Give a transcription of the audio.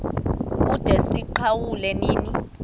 kude siwuqale nini